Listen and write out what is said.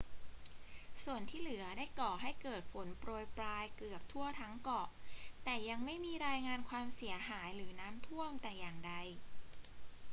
ส่วนที่เหลือได้ก่อให้เกิดฝนโปรยปรายเกือบทั่วทั้งเกาะ แต่ยังไม่มีรายงานความเสียหายหรือน้ำท่วมแต่อย่างใด